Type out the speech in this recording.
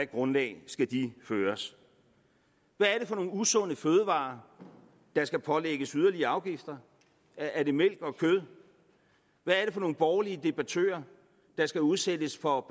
grundlag de skal føres hvad er det for nogle usunde fødevarer der skal pålægges yderligere afgifter er det mælk og kød hvad er det for nogle borgerlige debattører der skal udsættes for